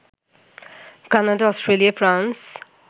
Canada, Australia, France